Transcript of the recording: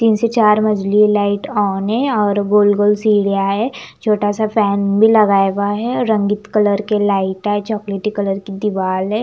तीन से चार मझली लाइट ऑन है और गोल गोल सीढिया है छोटा सा फैन भी लगाया हुआ है रंगीत कलर की लाइट है चॉकलेटी कलर की दिवाल है।